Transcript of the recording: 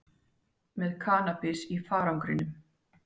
Með kannabis í farangrinum